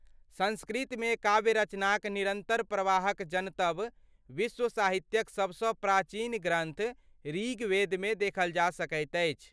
संस्कृतमे काव्य रचनाक निरन्तर प्रवाहक जनतब विश्व साहित्यक सबसँ प्राचीन ग्रन्थ ऋग्वेदमे देखल जा सकैत अछि।